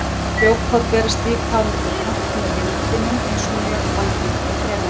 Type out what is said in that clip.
Frjókorn berast líka á milli plantna með vindinum eins og mjög algengt er hérlendis.